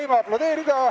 Nii, võime aplodeerida.